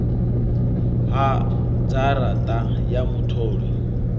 ha dzhara ṱa ya mutholi